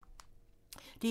DR2